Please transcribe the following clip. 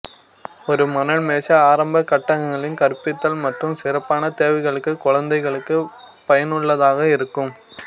ஒரு மணல் மேசை ஆரம்பக் கட்டங்களில் கற்பித்தல் மற்றும் சிறப்பான தேவைகளுக்கு குழந்தைகளுக்கு பயனுள்ளதாக இருக்கும்